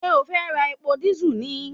Ṣé o fẹ́ ra epo dísù ni